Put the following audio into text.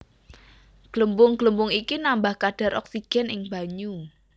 Glembung glembung iki nambah kadhar oksigen ing banyu